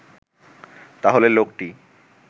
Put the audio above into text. তাহলে লোকটি